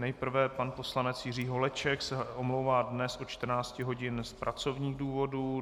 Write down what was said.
Nejprve pan poslanec Jiří Holeček se omlouvá dnes od 14 hodin z pracovních důvodů.